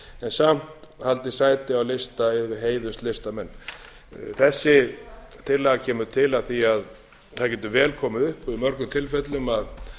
samt haldið sæti á lista yfir heiðurslistamenn þessi tillaga kemur til af því að það getur vel komið til í mörgum tilfellum að